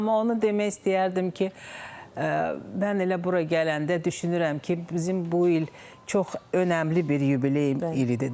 Amma onu demək istəyərdim ki, mən elə bura gələndə düşünürəm ki, bizim bu il çox önəmli bir yubiley ilidir də.